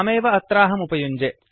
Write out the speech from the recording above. तामेव अत्राहम् उपयुञ्जे